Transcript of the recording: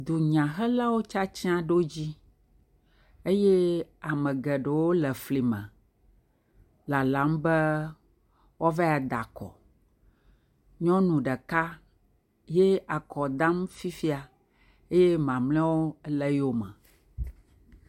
Dunyahelawo tsitsi ɖo dzi eye ame geɖewo le fli me lalam be woavae da akɔ, nyɔnu ɖeka ye akɔ dam fifia eye mamleawo ele eyome.